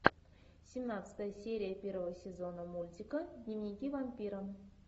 семнадцатая серия первого сезона мультика дневники вампира